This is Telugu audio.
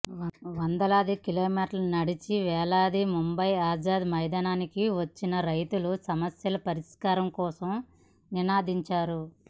వందలాది కిలోమీటర్లు నడచి వేలాదిగా ముంబయి ఆజాద్ మైదానికి వచ్చిన రైతులు సమస్యల పరిష్కారం కోసం నినదించారు